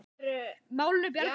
Málinu bjargað fyrir horn.